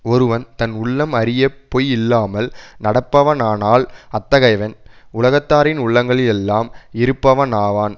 ஒருவன் தன் உள்ளம் அறிய பொய் இல்லாமல் நடப்பவனானால் அத்தகையவன் உலகத்தாரின் உள்ளங்களில் எல்லாம் இருப்பவனாவான்